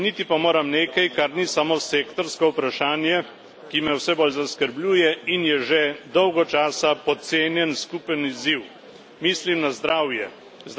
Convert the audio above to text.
Omeniti pa moram nekaj, kar ni samo sektorsko vprašanje, ki me vse bolj zaskrbljuje in je že dolgo časa podcenjen skupni izziv mislim na zdravje.